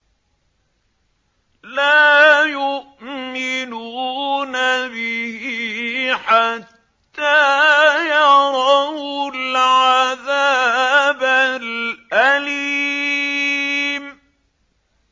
لَا يُؤْمِنُونَ بِهِ حَتَّىٰ يَرَوُا الْعَذَابَ الْأَلِيمَ